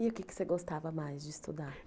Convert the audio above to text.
E o que você gostava mais de estudar?